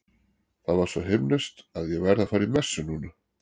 Það var svo himneskt að ég verð að fara í messu núna.